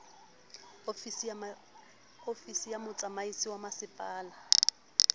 ofisi ya motsamaisi wa masepala